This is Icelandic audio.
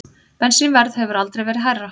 Bensínverð hefur aldrei verið hærra